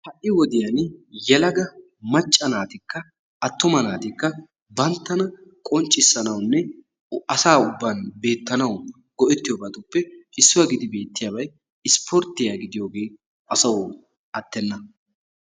Ha"i wodiyan yelaga macca naatikka attuma naatikka banttana qonccissanawunne asa ubban beettanawu go"ettiyobatuppe issuwa gidi beettiyabay isspporttiya gidiyoge asawu attenna.